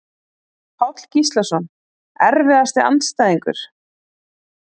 Páll Gíslason Erfiðasti andstæðingur?